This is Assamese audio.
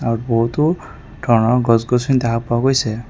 বহুতো ধৰণৰ গছ-গছনি দেখা পোৱা গৈছে।